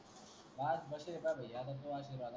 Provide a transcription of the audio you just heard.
आज मट रेल